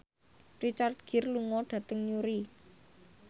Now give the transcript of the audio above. Richard Gere lunga dhateng Newry